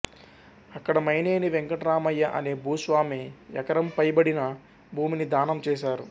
అక్కడ మైనేని వెంకట్రామయ్య అనే భూస్వామి ఎకరంపైబడిన భూమిని దానం చేశారు